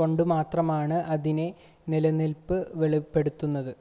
കൊണ്ട് മാത്രമാണ് അതിൻ്റെ നിലനിൽപ്പ് വെളിപ്പെടുന്നത്